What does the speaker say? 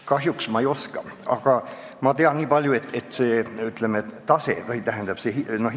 Kahjuks ma ei oska, aga ma tean nii palju, et see tasu on väga erinev.